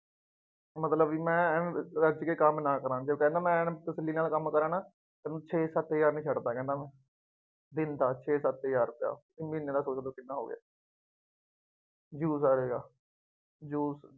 ਮਤਲਬ ਵੀ ਮੈਂ ਐਨ ਰੱਜ ਕੇ ਕੰਮ ਨਾ ਕਰਾਂ, ਜੋ ਪਹਿਲਾਂ ਮੈਂ ਐਨਕ ਤਸਵੀਰਾਂ ਵਾਲਾ ਕੰਮ ਕਰਾਂ ਨਾ, ਤਾਂ ਛੇ-ਸੱਤ ਹਜ਼ਾਰ ਨਹੀਂ ਛੱਡਦਾ ਕਹਿੰਦਾ, ਦਿਨ ਦਾ ਛੇ-ਸੱਤ ਹਜ਼ਾਰ ਰੁਪਇਆ, ਹੁਣ ਮਹੀਂਨੇ ਦਾ ਸੋਚ ਲਉ ਕਿੰਨਾ ਹੋ ਗਿਆ ਜੂਸ ਵਾਲਾ ਜਿਹੜਾ ਜੂਸ